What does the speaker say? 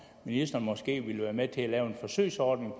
ministeren måske vil være med til at lave en forsøgsordning